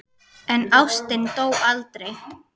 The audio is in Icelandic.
En ástin dó aldrei.